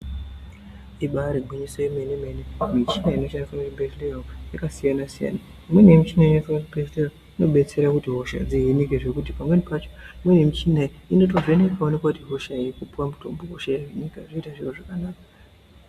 Ibari gwinyiso remene mene michina inoshandiswa muzvibhedhlera umu yakasiyana-siyana imweni inoshandiswa muzvibhedhlera inobatsira kuti hosha dzihinike nekuti pacho kune michina inovhenekawo wotoona kuti hosha iyo wopuwa mutombo zvoita zviro zvakanaka.